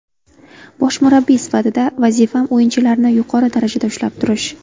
Bosh murabbiy sifatida vazifam o‘yinchilarni yuqori darajada ushlab turish.